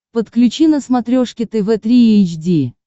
подключи на смотрешке тв три эйч ди